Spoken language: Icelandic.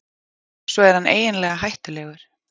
Svo er hann eiginlega hættulegur.